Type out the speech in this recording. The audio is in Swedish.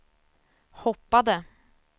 hoppade